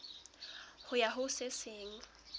ho ya ho se seng